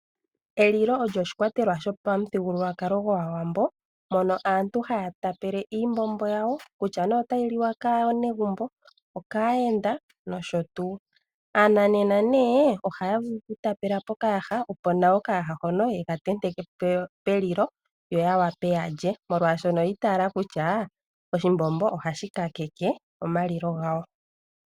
Elilo olyo oshikwatelwa shopamuthigululwakalo gwaawambo mono aantu haya tapele iimbombo yawo kutya ne otayi liwa kaanegumbo, okaayenda nosho tu. Aananena ne, ohaya vulu okutapela pokayaha opo nawa okayaha hono yeka tenteke pelilo yo ya wape ya lye molwashono oyi itaala kutya oshimbombo ohashi kakeke omalilo gawo.